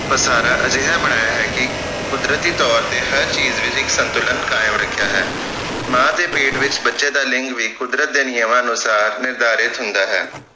ਵਸਾਰਾ ਅਜਿਹਾ ਬਣਾਇਆ ਹੈ ਕਿ ਕੁਦਰਤੀ ਤੌਰ ਤੇ ਹਰ ਚੀਜ ਵਿਚ ਇਕ ਸੰਤੁਲਨ ਕਾਇਮ ਰਖਿਆ ਹੈ ਮਾਂ ਦੇ ਪੇਟ ਵਿਚ ਬੱਚੇ ਦਾ ਲਿੰਗ ਵੀ ਕੁੱਦਰਤ ਦੇ ਨਿਯਮਾਂ ਅਨੁਸਾਰ ਨਿਰਧਾਰਿਤ ਹੁੰਦਾ ਹੈ